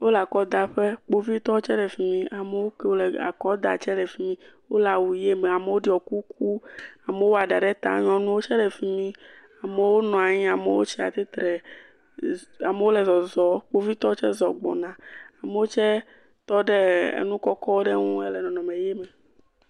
Wole akɔdaƒe. Kpovitɔwo tse le fi mi. Amewo ke le akɔ dam tse le fi mi. Wole awu ʋi me amewo ɖɔ kuku. Amewo wɔ ɖa ɖe ta nyɔnuwo tse le fi mi. Amewo nɔ anyi, amewo tsi atsitre. Amewo le zɔzɔm, kpovitɔwo tse zɔ gbɔna. Amewo tse tɔ ɖe e enu kɔkɔ ɖe nu hele nɔnɔme ʋi me.